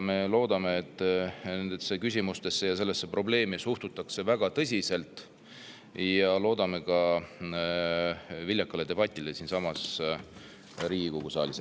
Me loodame, et nendesse küsimustesse ja sellesse probleemi suhtutakse väga tõsiselt, ja loodame ka viljakat debatti siinsamas Riigikogu saalis.